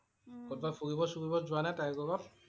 কবাত ফুৰিব - চুৰিব যোৱা নে তাইৰ লগত?